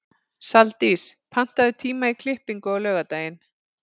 Saldís, pantaðu tíma í klippingu á laugardaginn.